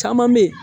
Caman be ye